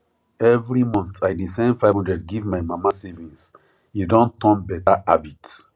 every month i dey send 500 give my mama savings e don turn beta habit